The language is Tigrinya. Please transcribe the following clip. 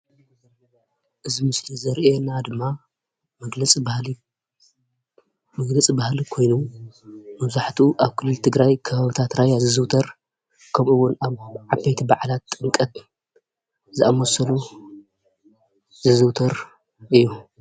እዚ ምስሊ ዘርእየና ድማ መግለፂ ባህሊ ኮይኑ መብዛሕትኡ ኣብ ክልል ትግራይ ከባቢ ራያ ዝዝውተር ከምኡ ውን ኣብ ዓበይቲ በዓላት ኣብ ጥምቀት ዝዝውተር እዩ፡፡